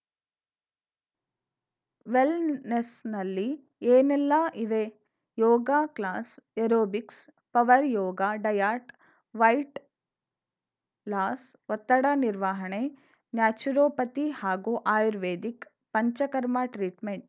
ವೆಲ್‌ನೆಸ್‌ನಲ್ಲಿ ಏನೆಲ್ಲ ಇವೆ yoga class aerobics power yoga diet weight loss ಒತ್ತಡ ನಿರ್ವಾಹಣೆ ನ್ಯಾಚುರೋಪತಿ ಹಾಗೂ ಆರ್ಯವೇದಿಕ್‌ ಪಂಚಕರ್ಮ ಟ್ರೀಟ್‌ಮೆಂಟ್‌